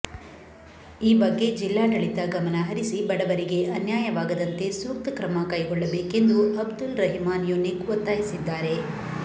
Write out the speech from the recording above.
ಈ ಬಗ್ಗೆ ಜಿಲ್ಲಾಡಳಿತ ಗಮನ ಹರಿಸಿ ಬಡವರಿಗೆ ಅನ್ಯಾಯವಾಗದಂತೆ ಸೂಕ್ತ ಕ್ರಮಕೈಗೊಳ್ಳಬೇಕೆಂದು ಅಬ್ದುಲ್ ರಹಿಮಾನ್ ಯುನಿಕ್ ಒತ್ತಾಯಿಸಿದ್ದಾರೆ